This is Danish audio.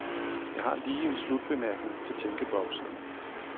Jeg har lige en slutbemærkning til tænkeboksen.